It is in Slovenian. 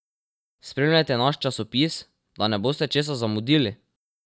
Spremljajte naš časopis, da ne boste česa zamudili!